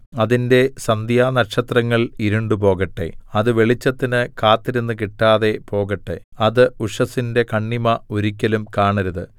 അതിന്റെ സന്ധ്യാനക്ഷത്രങ്ങൾ ഇരുണ്ടുപോകട്ടെ അത് വെളിച്ചത്തിന് കാത്തിരുന്നു കിട്ടാതെ പോകട്ടെ അത് ഉഷസ്സിന്റെ കണ്ണിമ ഒരിക്കലും കാണരുത്